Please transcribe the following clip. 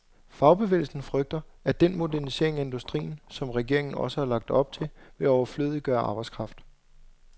Fagbevægelsen frygter, at den modernisering af industrien, som regeringen også har lagt op til, vil overflødiggøre arbejdskraft.